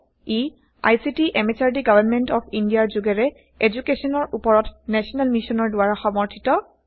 E ICT MHRD government of ইণ্ডিয়াৰ যোগেৰে এদুকেশ্যনৰ উপৰত নেশ্যনেল মিচন দ্বাৰা সমৰ্থিত